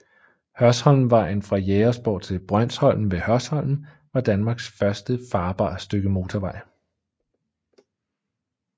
Hørsholmvejen fra Jægersborg til Brønsholm ved Hørsholm var Danmarks første farbare stykke motorvej